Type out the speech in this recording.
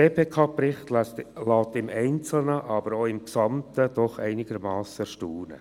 Der GPK-Bericht lässt im Einzelnen, aber auch im Gesamten doch einigermassen staunen.